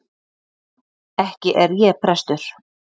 Ekki er ég prestur.